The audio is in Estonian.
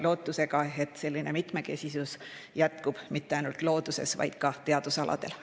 Loodame, et selline mitmekesisus jätkub mitte ainult looduses, vaid ka teadusaladel.